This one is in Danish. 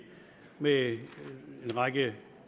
med en række